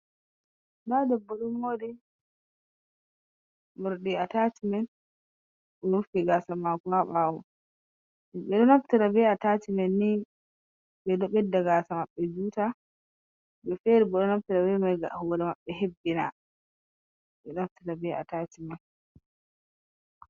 Da debbo domori murdi atachimen omofi gasamako haabawo, bedo naftira bee atachimen ni bedo bedda gasa mabbe juta, himbe fere bo donaftira bemai gam horemabbi hebbina, bedonaftira be atachimen.